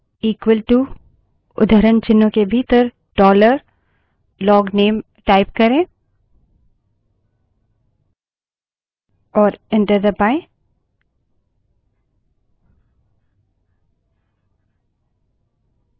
केवल पीएसवन बड़े अक्षर में इक्वलटू उद्धरणचिन्हों के भीतर dollar लोगनेल type करें और enter दबायें